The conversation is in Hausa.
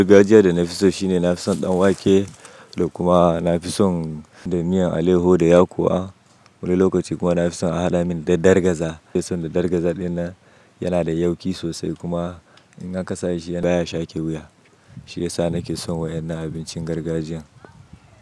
Gargajiya da na fi so shine na fi son ɗan wake da kuma na fi son da miyan aleho da yakuwa. Wani lokacin kuma na fi son a hada mini da dargaza. Na fi son da dargaza din nan, yana da yauki sosai kuma in an kasashe shi baya shake wuya. Shiyasa nake son wayan nan abincin gargajiyan.